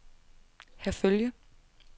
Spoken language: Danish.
Herfølge